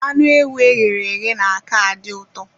Anụ ewu e ghere eghe na-aka adị uto